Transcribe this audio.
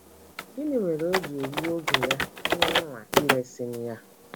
Gịnị mere o ji egbu oge ya n’ịnwa iresị m ya? ’